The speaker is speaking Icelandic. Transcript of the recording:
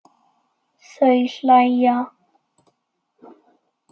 Þau hlæja.